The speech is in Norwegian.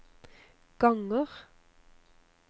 ganger